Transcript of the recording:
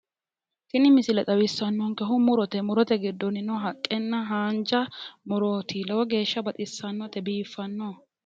Tini misile xawissannonkehu murote. murote giddonnino haqqenna haanja murooti. Lowo geeshsha baxissannote biiffanno.